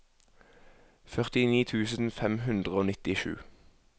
førtini tusen fem hundre og nittisju